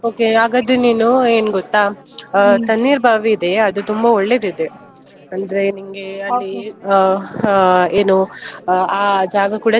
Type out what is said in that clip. Okay ಹಾಗಾದ್ರೆ ನೀನು ಏನ್ ಗೊತ್ತಾ Tannirbhavi ಇದೆ ಅದು ತುಂಬಾ ಒಳ್ಳೆದಿದೆ. ಅಂದ್ರೆ ನಿಂಗೆ ಹಾ ಏನು ಆ ಜಾಗ ಕೂಡ.